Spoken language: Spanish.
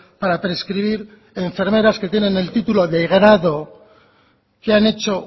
para prescribir enfermeras que tienen el título de grado que han hecho